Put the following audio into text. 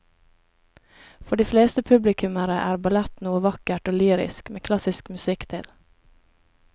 For de fleste publikummere er ballett noe vakkert og lyrisk med klassisk musikk til.